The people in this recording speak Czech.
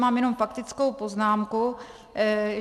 Mám jenom faktickou poznámku.